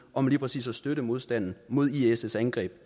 om lige præcis at støtte modstanden mod iss angreb